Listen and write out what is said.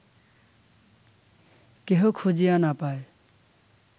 কেহ খুঁজিয়া না পায়